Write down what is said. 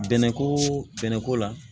Bɛnɛ koo bɛnɛ ko la